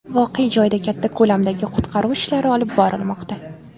Voqea joyida katta ko‘lamdagi qutqaruv ishlari olib borilmoqda.